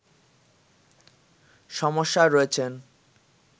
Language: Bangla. সমস্যায় রয়েছেন